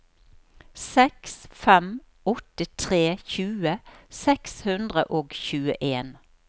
seks fem åtte tre tjue seks hundre og tjueen